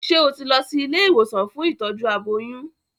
Ṣé o ti lọ sí ilé ìwòsàn fún ìtọ́jú aboyún?